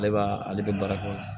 Ale b'a ale bɛ baara kɛ o